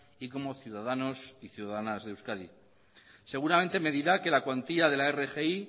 y como ciudadanos y ciudadanas de euskadi seguramente me dirá que la cuantía de la rgi